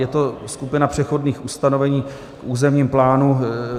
Je to skupina přechodných ustanovení k územnímu plánu.